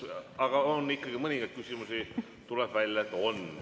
Aga mõningaid küsimusi, tuleb välja, ikkagi on.